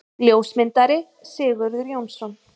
Ljósmyndari: Sigurður Jónsson.